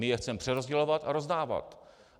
My je chceme přerozdělovat a rozdávat.